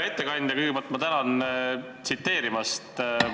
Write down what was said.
Hea ettekandja, kõigepealt ma tänan enda tsiteerimise eest.